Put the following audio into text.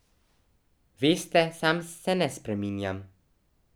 Veste, sam se ne spreminjam.